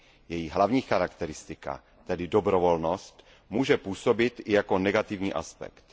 Její hlavní charakteristika, tedy dobrovolnost, může působit i jako negativní aspekt.